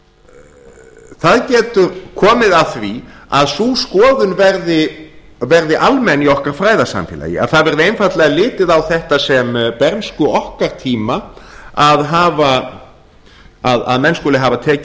það getur komið að því að sú skoðun verði almenn í okkar fræðasamfélagi að það verði einfaldlega litið á þetta sem bernsku okkar tíma að menn skuli hafa tekið